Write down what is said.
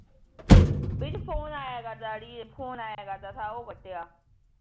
ਵਿੱਚ ਫੋਨ ਆਇਆ ਕਰਦਾ ਤਾ ਅੜੀਏ ਉਹ ਕੱਟਿਆ